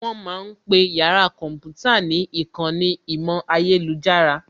Wọ́n ma ń pe yàrá kọ̀ḿpútà ní ìkànnì ìmọ̀ ayélujára